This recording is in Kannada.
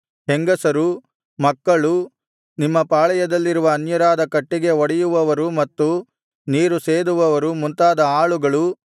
ಹೆಂಗಸರು ಮಕ್ಕಳು ನಿಮ್ಮ ಪಾಳೆಯದಲ್ಲಿರುವ ಅನ್ಯರಾದ ಕಟ್ಟಿಗೆ ಒಡೆಯುವವರು ಮತ್ತು ನೀರು ಸೇದುವವರು ಮುಂತಾದ ಆಳುಗಳು